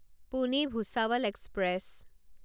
Pune Bhusawal express